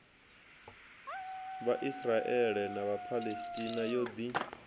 vhaisraele na vhaphalestina yo ḓi